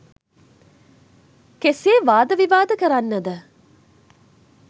කෙසේ වාද විවාද කරන්නද?